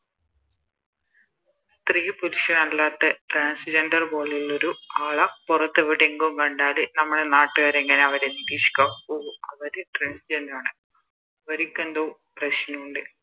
സ്ത്രീ പുരുഷൻ അല്ലാത്ത Transgender പോലെയുള്ളൊരു ആളെ പൊറത്ത് എവിടേങ്കും കണ്ടാല് നമ്മുടെ നാട്ടുകാര് എങ്ങനെയാ അവരെ നിരീക്ഷിക്കുവാ ഓഹോ അവര് Trans gender ആണ് അവരിക്കെന്തോ പ്രശ്നോണ്ട്